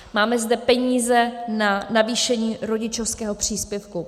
Máme zde peníze na navýšení rodičovského příspěvku.